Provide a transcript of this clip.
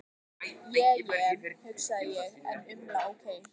Je je, hugsa ég en umla ókei.